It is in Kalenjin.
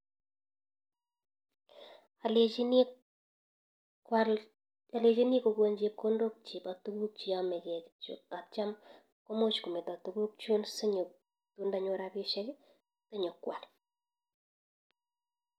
Alechini kokon chepkondok cheba tuguk cheyamegeeii kityok atya komuch kometa tuguk chun ndanyor rapisiek nyo kwal